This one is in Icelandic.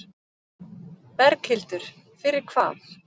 Berghildur: Fyrir hvað?